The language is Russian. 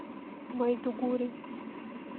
майдугури